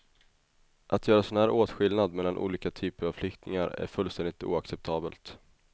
Att göra sådan här åtskillnad mellan olika typer av flyktingar är fullständigt oacceptabelt.